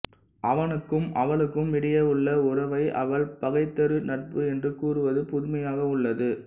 அவனுக்கும் அவளுக்கும் இடையே உள்ள உறவை அவள் பகைதரு நட்பு என்று கூறுவது புதுமையாக உள்ளது